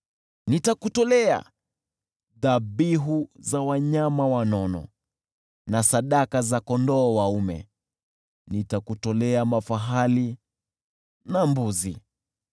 Nitakutolea dhabihu za wanyama wanono na sadaka za kondoo dume, nitakutolea mafahali na mbuzi.